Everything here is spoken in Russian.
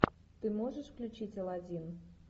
ты можешь включить алладин